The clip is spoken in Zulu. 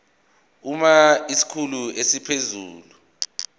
uma isikhulu esiphezulu